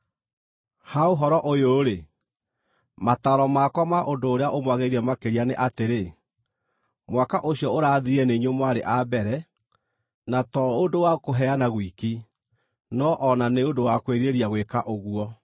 Ha ũhoro ũyũ-rĩ, mataaro makwa ma ũndũ ũrĩa ũmwagĩrĩire makĩria nĩ atĩrĩ: Mwaka ũcio ũrathirire nĩ inyuĩ mwarĩ a mbere, na to ũndũ wa kũheana gwiki, no o na nĩ ũndũ wa kwĩrirĩria gwĩka ũguo.